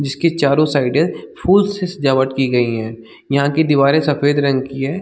जिसके चारों साइडे फूल से सजावट की गई है यहाँ की दीवारे सफ़ेद रंग के हैं ।